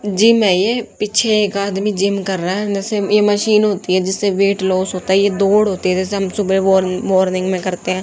Gym है ये पीछे एक आदमी जिम कर रहा है नशे में ये मशीन होती है जिससे वेट लॉस होता है ये दौड़ होती है जैसे हम सुबह वार मॉर्निंग में करते हैं।